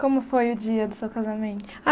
Como foi o dia do seu casamento?